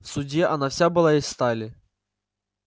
в суде она вся была из стали